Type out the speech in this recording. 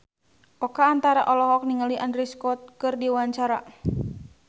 Oka Antara olohok ningali Andrew Scott keur diwawancara